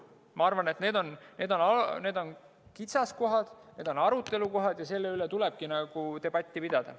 Ma arvan, et need on kitsaskohad, need on arutelukohad ja nende üle tulebki debatti pidada.